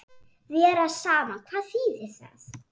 Vera saman, hvað þýðir það?